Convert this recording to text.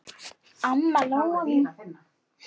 Amma Lóa mín.